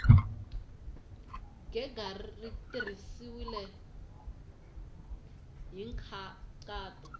gega ri tirhisiwile hi nkhaqato